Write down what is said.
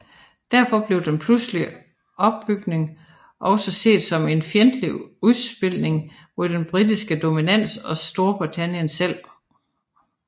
Derfor blev den pludselige opbygning også set som en fjendtlig udspilning mod den britiske dominans og Storbritannien selv